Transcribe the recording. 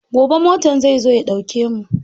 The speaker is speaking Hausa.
Gobe motan zai zo ya ɗauke mu.